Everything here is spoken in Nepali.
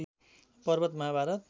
पर्वत महाभारत